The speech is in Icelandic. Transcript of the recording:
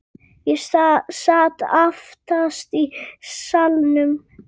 Ég sat aftast í salnum.